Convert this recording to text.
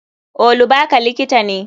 Olubaka likita ne.